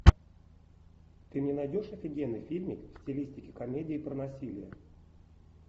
ты мне найдешь офигенный фильмик в стилистике комедии про насилие